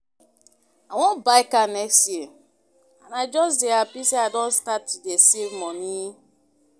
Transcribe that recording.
I wan buy car next year and I just dey happy say I don start to dey save money